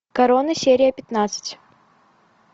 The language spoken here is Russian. корона серия пятнадцать